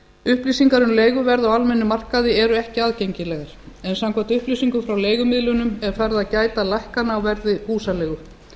upplýsingar um leiguverð á almennum markaði eru ekki aðgengilegar en samkvæmt upplýsingum frá leigumiðlunum er farið að gæta lækkana á verði húsaleigu